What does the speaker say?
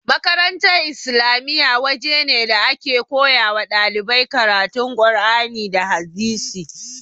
Makarantar islamiya waje ne da ake koyawa ɗalibai karatu qur'ani da hadisi